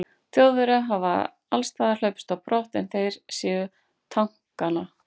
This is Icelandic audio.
Þjóðverjar hafi allsstaðar hlaupist á brott, er þeir sáu tankana.